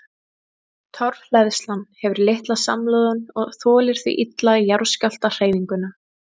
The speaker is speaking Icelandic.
Torfhleðslan hefur litla samloðun og þolir því illa jarðskjálftahreyfinguna.